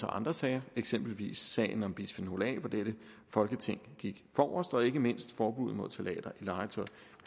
andre sager eksempelvis sagen om bisfenol a hvor dette folketing gik forrest og ikke mindst forbuddet mod ftalater i legetøj